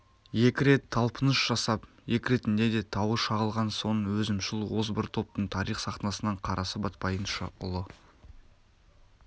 екі рет талпыныс жасап екі ретінде де тауы шағылған соң өзімшіл озбыр топтың тарих сахнасынан қарасы батпайынша ұлы